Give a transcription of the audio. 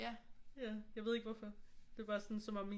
Ja jeg ved ikke hvorfor det er bare sådan som om min